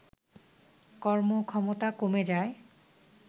কর্মক্ষমতা কমে যায়